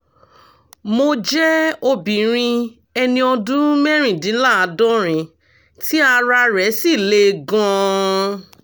mo jẹ́ obìnrin ẹni ọdún mẹ́rìndínláàádọ́rin tí ara rẹ̀ sì le gan - an